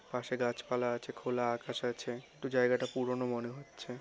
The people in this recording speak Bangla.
পাশে গাছপালা আছে। খোলা আকাশ আছে। একটু জায়গাটা পুরনো মনে হচ্ছে।